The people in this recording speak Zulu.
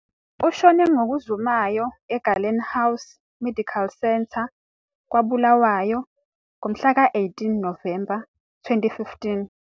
Ushone ngokuzumayo eGallen House Medical Centre, kwaBulawayo, ngomhlaka 18 Novemba 2015.